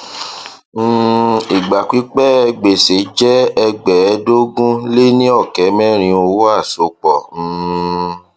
um ìgbà pípẹ gbèsè jẹ ẹgbẹẹẹdógún lé ní ọkẹ mẹrin owó àsopọ um